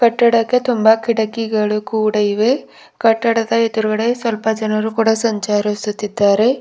ಕಟ್ಟಡಕ್ಕೆ ತುಂಬಾ ಕಿಟಕಿಗಳು ಕೂಡ ಇವೆ ಕಟ್ಟಡದ ಎದುರುಗಡೆ ಸ್ವಲ್ಪ ಜನರು ಕೂಡ ಸಂಚರಿಸುತ್ತಿದ್ದಾರೆ.